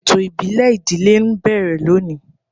Ètò ìbílẹ̀ ìdílé ń bẹ̀rẹ̀ lónìí.